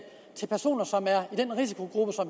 til personer som er i den risikogruppe